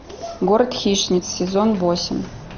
город хищниц сезон восемь